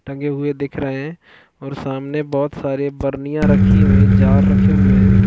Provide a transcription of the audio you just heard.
टंगे हुए दिख रहै है और सामने बहुत सारे बरनियाँ रखी हुई है जार रखे हुए हैं।